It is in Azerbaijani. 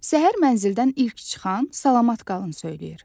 Səhər mənzildən ilk çıxan salamat qalın söyləyir.